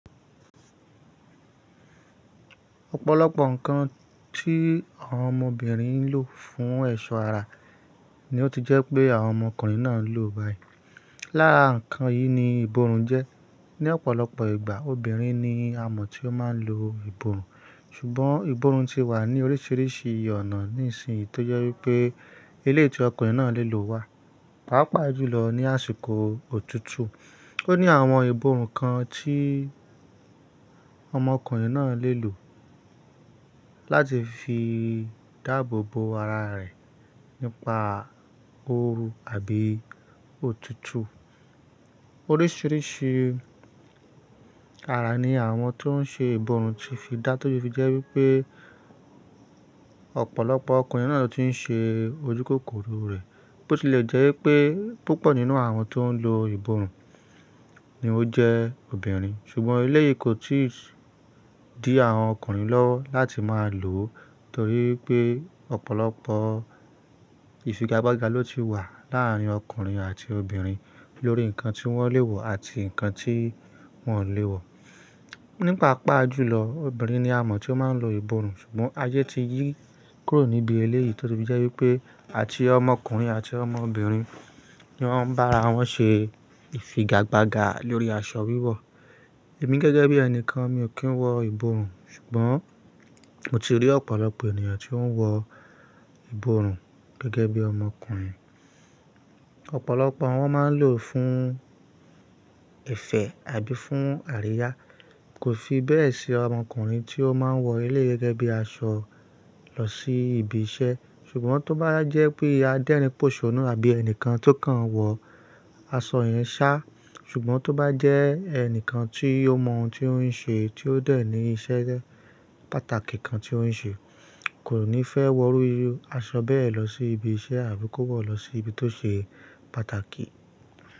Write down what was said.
Ọ̀pọ̀lọpọ̀ ǹkan tí àwọn ọmọbìnrin ń lò fún ẹ̀ṣọ́ ara ni ó ti jẹ́ pé àwọn ọmọkùnrin náà ń lò báyìí. Lára ǹkan yìí ni ìbòrùn jẹ́. Ni ọ̀pọ̀lọpọ̀ ìgbà obìnrin ni a mọ̀ tí ó máa ń lo ìbòrùn, ṣùgbọ́n ìbòrùn ti wà ní oríṣiríṣi ọ̀nà ní ìsìn yìí tó jẹ́ wípé eleyii tí ọkùnrin náà lè lò wà. Pàápàá jùlọ ní àsìkò òtútù. Ó ní àwọn ìbòrùn kan tí àwọn ọmọkùnrin náà lè lò láti fi dáàbòbò ara rẹ̀ nípa ooru àbí òtútù. Oríṣiríṣi ara ni àwọn tó ń ṣe ìbòrùn ti fi dá tó se fi jẹ́ wípé ọ̀pọ̀lọpọ̀ ọkùnrin náà ló ti ń ṣe ojúkòkòrò rẹ̀. Bó ti lè jẹ́ wípé púpọ̀ nínú àwọn tó ń lo ìbòrùn ni ó jẹ́ obìnrin. Ṣùgbọ́n eléyìí kò tí ì dí àwọn ọkùnrin lọ́ láti máa lò ó torí pé ọ̀pọ̀lọpọ̀ ìfigagbága ló ti wà láàárín ọkùnrin àti obìnrin lórí ǹkan tí wọ́n lè wọ̀ àti ǹkan tí wọ́n ò lè wọ̀. Ní pa àpá jùlọ, obìnrin ni a mọ̀ tí ó máa ń lo ìbòrùn. Ṣùgbọ́n ayé ti yí kúrò níbi eléyìí tó ṣe fi jẹ́ wípé àti ọmọkùnrin àti ọmọbìnrin ni wọ́n bá ara wọn ṣe ìfigagbága lórí aṣọ wíwọ̀. Èmi gẹ́gẹ́ bí ẹni kan mi ò kí ń wọ ìbòrùn, ṣùgbọ́n mo ti rí ọ̀pọ̀lọpọ̀ ènìyàn tí ó ń wọ ìbòrùn gẹ́gẹ́ bí ọmọkùnrin. Ọ̀pọ̀lọpọ̀ wọn máa ń lò fún ìfẹ́ àbí fún àríyá. Kò fi bẹ́ẹ̀ ṣe ọmọkùnrin tí ó máa ń wọ ilé gẹ́gẹ́ bí aṣọ lọ sí ibi iṣẹ́. Ṣùgbọ́n tó bá jẹ́ pé adẹ́rìn pòṣonnú àbí ẹni kan tó kàn wọ aṣọ yẹn sá, ṣùgbọ́n tó bá jẹ́ ẹnì kan tí ó mọ ohun tí ó ń ṣe tí ó dẹ̀ ní iṣẹ́ pàtàkì kan tí ó ń ṣe kò ní fẹ́ wọ irú aṣọ bẹ́ẹ̀ lọ sí ibi iṣẹ́ àbí kó wọ̀ lọ sí ibi tó ṣe pàtàkì.